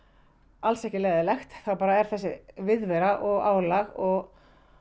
alls ekki leiðinlegt þá er þessi viðvera og álag og